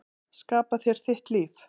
Skapa þér þitt líf.